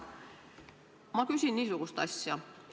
Ma küsin niisugust asja.